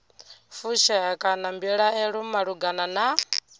fushea kana mbilaelo malugana na